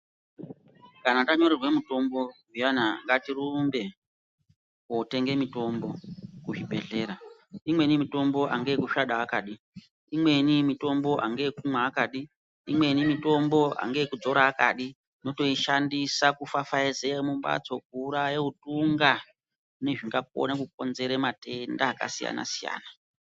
Kana anyorerwa mitombo zviyaa ngatirumbe kootenga mitombo kuzvibhendlera. Imweni mitombo angaayekusvada akadi. Imweni mitombo anga kumwa akadi. Imweni mitombo angaakudzora akadi. Unotoishandisa kufafazeya mumhatso kuuraya utunga nezvingakona kukonzera matenda akasiyana siyana.